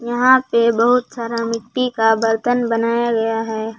यहां पे बहुत सारा मिट्टी का बर्तन बनाया गया है।